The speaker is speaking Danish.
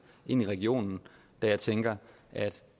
ind i regionen da jeg tænker at